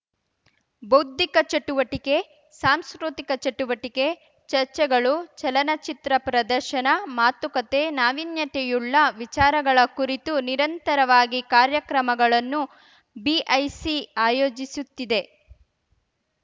ಬೌದ್ಧಿಕ ಚಟುವಟಿಕೆ ಸಾಂಸ್ಕೃತಿಕ ಚಟುವಟಿಕೆ ಚರ್ಚೆಗಳು ಚಲನಚಿತ್ರ ಪ್ರದರ್ಶನ ಮಾತುಕತೆ ನಾವೀತ್ಯತೆಯುಳ್ಳ ವಿಚಾರಗಳ ಕುರಿತು ನಿರಂತರವಾಗಿ ಕಾರ್ಯಕ್ರಮಗಳನ್ನು ಬಿಐಸಿ ಆಯೋಜಿಸುತ್ತಿದೆ